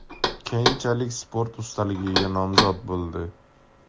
Keyinchalik sport ustaligiga nomzod bo‘ldi.